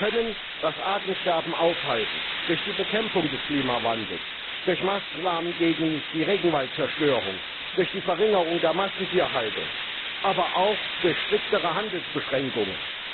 Wir können das Artensterben aufhalten durch die Bekämpfung des Klimawandels, durch Maßnahmen gegen die Regenwaldzerstörung, durch die Verringerung der Massentierhaltung, aber auch durch striktere Handelsbeschränkungen.